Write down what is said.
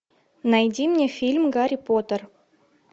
найди мне фильм гарри поттер